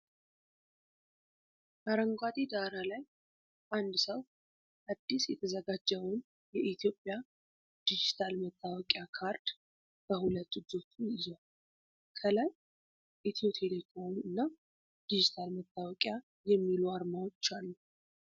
አረንጓዴ ዳራ ላይ፣ አንድ ሰው አዲስ የተዘጋጀውን የኢትዮጵያ ዲጂታል መታወቂያ ካርድ በሁለት እጆቹ ይዟል። ከላይ "ኢትዮ ቴሌኮም" እና "ዲጅታል መታወቂያ" የሚሉ ዓርማዎች አሉ።